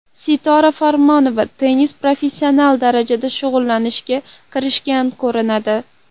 Sitora Farmonova tennis bilan professional darajada shug‘ullanishga kirishgan ko‘rinadi.